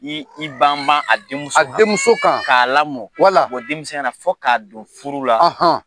Ni i ban ban a denmuso kan. A denmuso kan. K'a lamɔ, wala. denmisɛnya na fɔ k'a don furu la.